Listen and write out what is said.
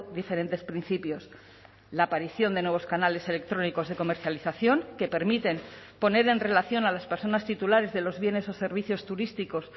diferentes principios la aparición de nuevos canales electrónicos de comercialización que permiten poner en relación a las personas titulares de los bienes o servicios turísticos